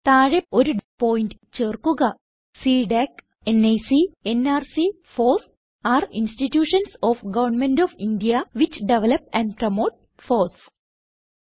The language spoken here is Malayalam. താഴെ ഒരു പോയിന്റ് ചേർക്കുക CDAC NIC nrc FOSS are institutions of government of India which develop and promote FOSS